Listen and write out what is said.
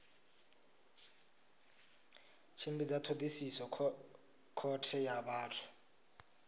tshimbidza thodisiso khothe ya vhathu